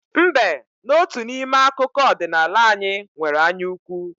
Mbe n'otu n'ime akụkọ ọdịnala anyị nwere anyaukwu.